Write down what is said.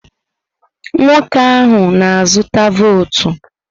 Nwoke ahụ na-azụta votu.